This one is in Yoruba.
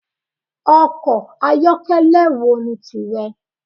Ọkọ̀ ayokele wo ni tìrẹ?